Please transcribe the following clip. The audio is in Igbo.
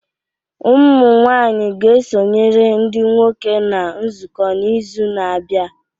Ụmụ nwanyị ga-esonyere ndị nwoke na nzukọ n'izu na-abịa